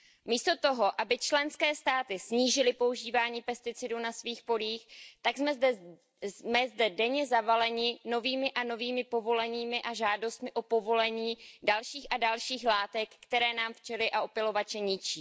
Místo toho, aby členské státy snížili používání pesticidů na svých polích, tak jsme zde denně zavaleni novými a novými povoleními a žádostmi o povolení dalších a dalších látek, které nám včely a opylovače ničí.